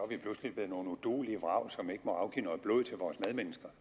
vi pludselig blev nogle uduelige vrag som ikke må afgive noget blod til vores medmennesker